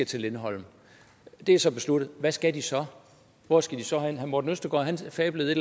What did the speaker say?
til lindholm det er så besluttet hvad skal de så hvor skal de så hen herre morten østergaard fablede